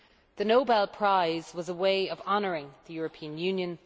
The Nobel Prize was a way of honouring the European Union.